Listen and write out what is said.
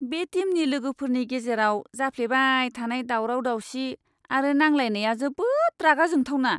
बे टीमनि लोगोफोरनि गेजेराव जाफ्लेबाय थानाय दावराव दावसि आरो नांलायलायनाया जोबोद रागा जोंथावना!